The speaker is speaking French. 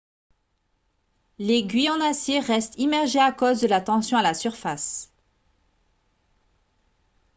l'aiguille en acier reste immergée à cause de la tension à la surface